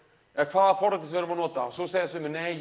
eða hvaða forriti við erum að nota og svo segja sumir nei